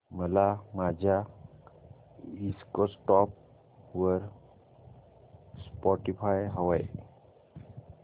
मला माझ्या डेस्कटॉप वर स्पॉटीफाय हवंय